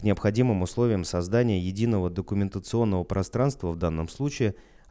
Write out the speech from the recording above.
необходимым условием создания единого документационного пространство в данном случае